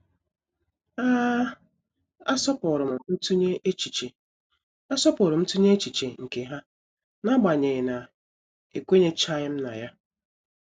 A asọpụrụm ntunye echiche asọpụrụm ntunye echiche nke ha n'agbanyeghị na ekwenyechaghim na ya.